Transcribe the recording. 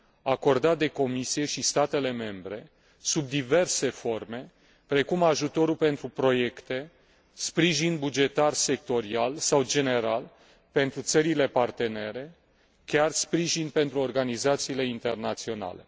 acordat de Comisie și statele membre sub diverse forme, precum ajutorul pentru proiecte, sprijin bugetar sectorial sau general pentru țările partenere, chiar sprijin pentru organizațiile internaționale.